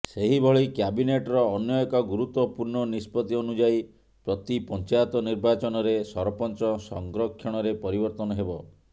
ସେହିଭଳି କ୍ୟାବିନେଟ୍ର ଅନ୍ୟ ଏକ ଗୁରୁତ୍ୱପୂର୍ଣ୍ଣ ନିଷ୍ପତ୍ତି ଅନୁଯାୟୀ ପ୍ରତି ପଞ୍ଚାୟତ ନିର୍ବାଚନରେ ସରପଞ୍ଚ ସଂରକ୍ଷଣରେ ପରିବର୍ତ୍ତନ ହେବ